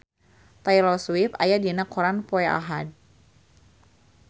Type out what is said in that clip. Taylor Swift aya dina koran poe Ahad